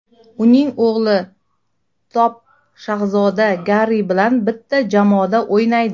Uning o‘g‘li Top shahzoda Garri bilan bitta jamoada o‘ynaydi.